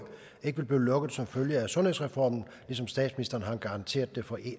ikke vil blive lukket som følge af sundhedsreformen ligesom statsministeren har garanteret det for